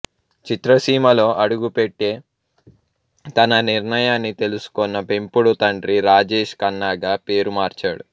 చిత్రసీమలో అడుగుపెట్టే తన నిర్ణయాన్ని తెలుసుకొన్న పెంపుడు తండ్రి రాజేష్ ఖన్నాగా పేరు మార్చాడు